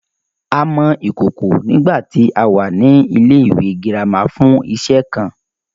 A mọ ìkòkò nígbàtí a wà ní ilẹ́ ìwé girama fún iṣe kan